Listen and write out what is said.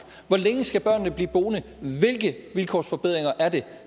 hvor længe skal børnene blive boende hvilke vilkårsforbedringer er det